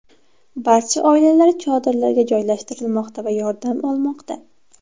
Barcha oilalar chodirlarga joylashtirilmoqda va yordam olmoqda.